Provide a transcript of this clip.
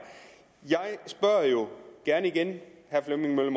jeg spørger gerne igen herre flemming møller